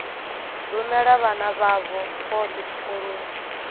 rumela vhana vhavho vhothe tshikoloni